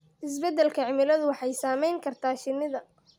Isbeddelka cimiladu waxay saameyn kartaa shinnida.